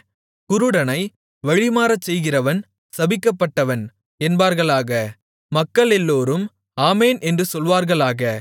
குருடனை வழிமாறச் செய்கிறவன் சபிக்கப்பட்டவன் என்பார்களாக மக்களெல்லோரும் ஆமென் என்று சொல்வார்களாக